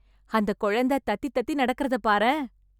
அந்த குழந்த தத்தி தத்தி நடக்கறதப் பாரேன்.